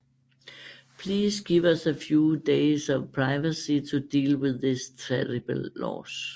Please give us a few days of privacy to deal with this terrible loss